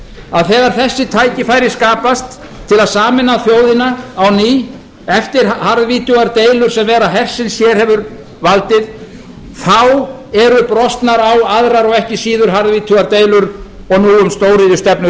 að þegar þessi tækifæri skapast til að sameina þjóðina á ný eftir harðvítugar deilur sem vera hersins hér hefur valdið þá eru brostnar á aðrar og ekki síður harðvítugar deilur og nú um stóriðjustefnu